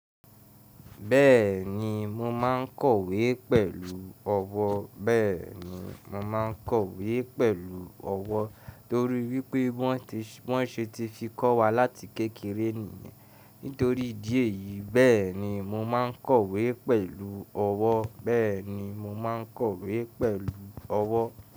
Bẹ́ẹ̀ni mo máa kọ̀wé pẹ̀lú ọwọ́, Beeni torí wípé wọ́n ṣe ti fi kọ́ wa láti kékeré Nítorí ìdí èyí, bẹ́ẹ̀ni mo máa ń kọ̀wé pẹ̀lú ọwọ́. Beeni mo maa n kowe pelu owo.